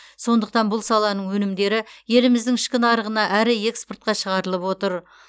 сондықтан бұл саланың өнімдері еліміздің ішкі нарығына әрі экспортқа шығарылып отыр